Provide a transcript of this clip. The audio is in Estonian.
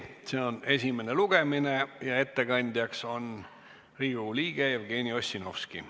See on esimene lugemine ja ettekandja on Riigikogu liige Jevgeni Ossinovski.